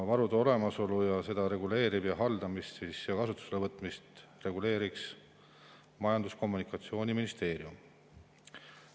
Varude olemasolu ning nende haldamist ja kasutusele võtmist reguleerib Majandus‑ ja Kommunikatsiooniministeerium.